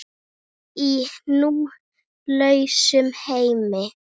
Í nú lausum heimi.